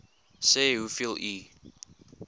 sê hoeveel u